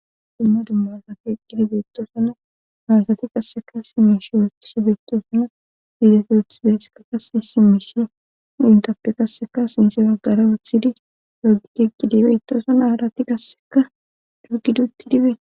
Simma dummasa keeqqidi beettoosana hawasati qasseka simish wuottish beetoosana fiidefi wuththidesekakahi simishi intappe qasseka sinthe baggara wuothidi logitiqqidi beitoosana haalati qasseka dogiduutti dibee.